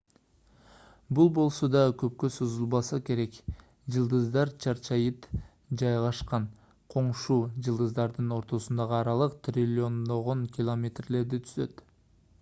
бул болсо да көпкө созулбаса керек жылдыздар чаржайыт жайгашкан коңшу жылдыздардын ортосундагы аралык триллиондогон километрлерди түзөт